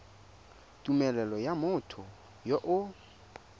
tumelelo ya motho yo o